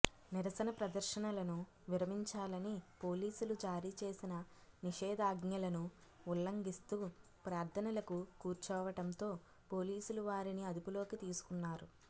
నిరసన ప్రదర్శనలను విరమించాలని పోలీసులు జారీ చేసిన నిషేధాజ్ఞలను ఉల్లంఘిస్తూ ప్రార్థనలకు కూర్చోవటంతో పోలీసులు వారిని అదుపులోకి తీసుకున్నారు